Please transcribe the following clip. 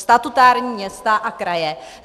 Statutární města a kraje.